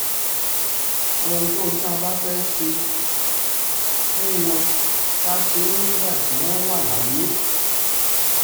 ohunkóhun tá a bá fẹ́ẹ́ ṣe fẹ́ẹ́ ṣe fún wọn ká ṣe é nígbà tí wọ́n wà láyé